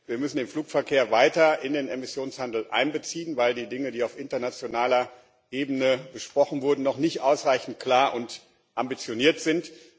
Wir müssen den Flugverkehr weiter in den Emissionshandel einbeziehen, weil die Dinge, die auf internationaler Ebene besprochen wurden, noch nicht ausreichend klar und ambitioniert sind.